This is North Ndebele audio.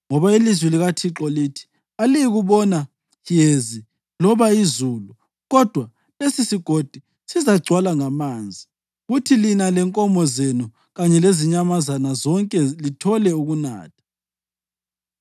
Ngoba ilizwi likaThixo lithi: Aliyikubona yezi loba izulu, kodwa lesisigodi sizagcwala ngamanzi, kuthi lina lenkomo zenu kanye lezinyamazana zonke lithole ukunatha.